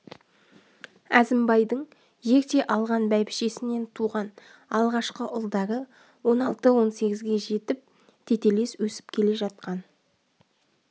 әзімбайдың ерте алған бәйбішесінен туған алғашқы ұлдары он алты он сегізге жетіп тетелес өсіп келе жатқан